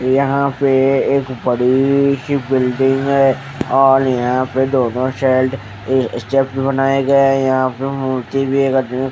यहां पे एक बड़ी सी बिल्डिंग है और यहां पे दोनों साइड अह स्टेप भी बनाए गए हैं यहां पे मूर्ति भी एक आदमी--